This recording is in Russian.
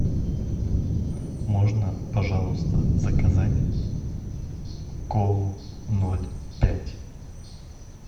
можно пожалуйста заказать колу ноль пять